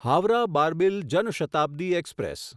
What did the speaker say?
Howrah Barbil Jan Shatabdi express